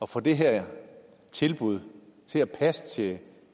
få det her tilbud til at passe til